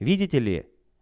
видите ли